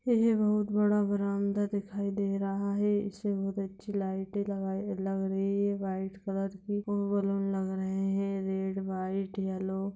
यह बहुत बड़ा बरंडा दिखाई दे रहा है इसमें बहोत अछि लाइटें लग रही है वाइट कलर की बलून लग रहे रेड वाइट येलो ।